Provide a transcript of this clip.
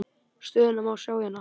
Stöðuna má sjá hérna.